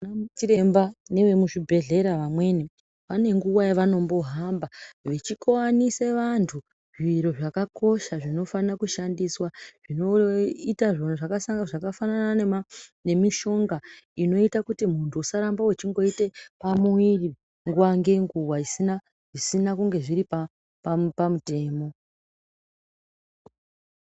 Anachiremba nevemuzvibhedhleya vamweni vane nguwa yavanombohamba vechikoanise vantu zviro zvakakosha zvinofanire kushandiswa zvinoita zvakafanana nemishonga inoite kuti muntu usarambe wechingoite pamuwiri nguwa ngenguwa zvisina kunge zviri pamutemo.